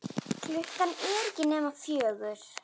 Klukkan er ekki nema fjögur.